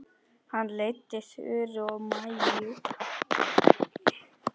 Hann leiddi Þuru og Maju.